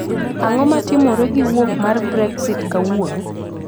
Ang'o matimore gi wuok mar Brexit kawuono